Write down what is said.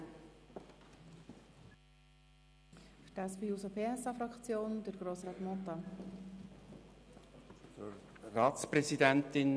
Für die SP-JUSO-PSA-Fraktion hat Grossrat Mentha das Wort.